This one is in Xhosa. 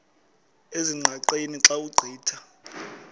ezingqaqeni xa ugqitha